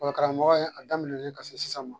Ekɔli karamɔgɔya a daminɛlen ka se sisan ma